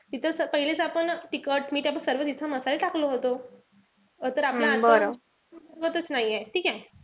तिथं पहिलेच आपण तिखट-मीठ आपण सर्व तिथे मसाले टाकलं होत. तर आता आपण च नाहीये, ठीकेय?